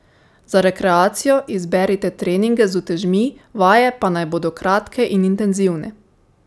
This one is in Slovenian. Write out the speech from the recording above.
Za rekreacijo izberite treninge z utežmi, vaje pa naj bodo kratke in intenzivne.